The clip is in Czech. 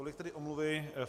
Tolik tedy omluvy.